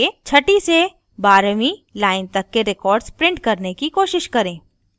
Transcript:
छठी से बारहवीं line तक के records print करने की कोशिश करें